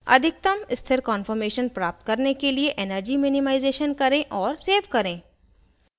अधिकतम स्थिर कान्फॉर्मेशन प्राप्त करने के लिए energy minimization करें और सेव करें